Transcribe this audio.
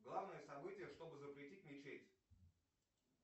главное событие чтобы запретить мечеть